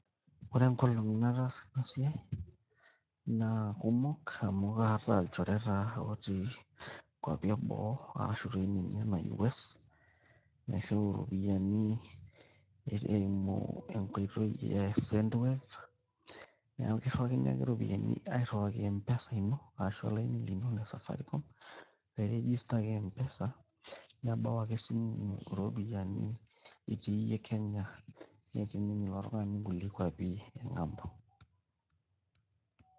Ore enkolong naatasa ena siai na kumok amu kaata ilchoreta ooti nkuapi ebo arashu naji ninye U.S.A nairiu ropiani eimu enkoitoi e sendwave, neeku kirawakini ake ropiani, airiwaki mpesa ino tolaini lino le safaricom loiregistaki mpesa nebau ake esimu ino ropiani itii iyie Kenya neeti ninye ilo tungani kulie kuapii eng'ambo